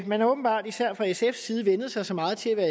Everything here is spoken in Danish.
man har åbenbart især fra sfs side vænnet sig så meget til at være